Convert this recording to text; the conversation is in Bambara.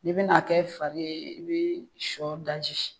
Ni bi na kɛ fari ye i bi sɔ daji.